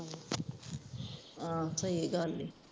ਆਹੋ ਸਹੀ ਗਲ ਹੀ